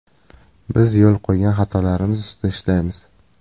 Biz yo‘l qo‘ygan xatolarimiz ustida ishlaymiz.